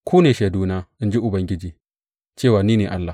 Ku ne shaiduna, in ji Ubangiji, cewa ni ne Allah.